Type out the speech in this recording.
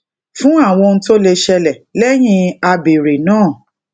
fun awon ohun to le sele leyin abere naa